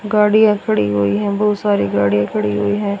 गाड़ियां खड़ी हुई हैं बहुत सारी गाड़ियां खड़ी हुई हैं।